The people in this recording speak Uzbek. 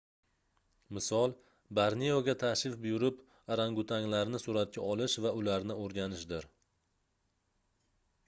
misol borneoga tashrif buyurib orangatuanglarni suratga olish va ularni oʻrganishdir